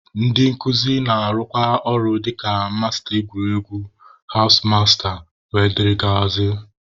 Ndị nkuzi na-arụkwa ọrụ dịka masta egwuregwu, hawụs masta wdg.